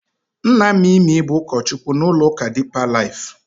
Nna Mimi bụ ụkọchukwu n'ụlọụka Dipa Laif.